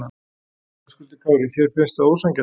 Höskuldur Kári: Þér finnst það ósanngjarnt?